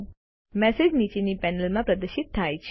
message નીચેની પેનલમાં પ્રદર્શિત થાય છે